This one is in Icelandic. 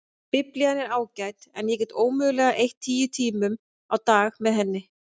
Biblían er ágæt en ég get ómögulega eytt tíu tímum á dag með henni.